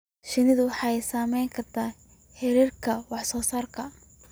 Shinnidu waxay saameyn kartaa heerarka wax soo saarka.